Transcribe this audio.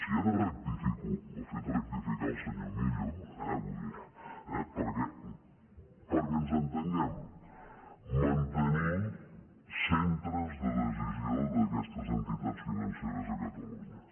i ara rectifico m’ho ha fet rectificar el senyor millo perquè ens entenguem mantenir centres de decisió d’aquestes entitats financeres a catalunya